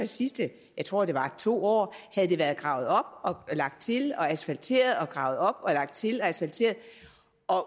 sidste tror jeg to år havde været gravet op lagt til og asfalteret og gravet op lagt til og asfalteret